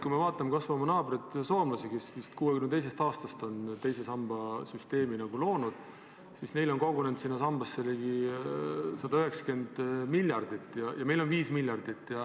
Kui vaatame kas või oma naabreid soomlasi, kes lõid oma teise samba süsteemi vist 1962. aastal, siis neil on sinna sambasse kogunenud 190 miljardit ja meil on 5 miljardit.